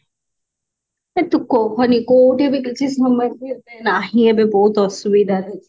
ତୁ କହନି କଉଠି ବି କିଛି ନାହିଁ ଏବେ ବହୁତ ଅସୁବିଧାରେ ଅଛି